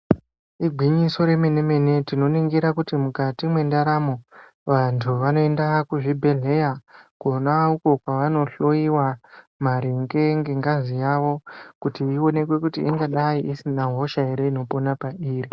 Igwinyiso remene-mene tinoningira kuti mukati mwendaramo, vantu vanoenda kuzvibhehleya kona uko kwavanohloiwa maringe ngengazi yavo kuti ionekwe kuti ingadai isina hosha here inopona pairi.